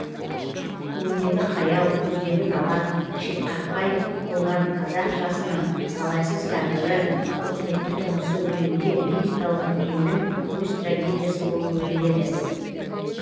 көңілдегі қаяу көздегі нала шетқақпай болған қазақ жасының талайсыз тағдыры тауқыметті тұрмысы өлеңде лирикалық меннің өз трагедиясы болып өрледі